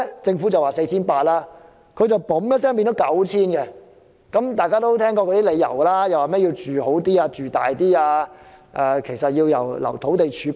政府說需要 4,800 公頃土地，他們卻說需要 9,000 公頃，原因是要讓人住得更好，又要預留土地儲備等。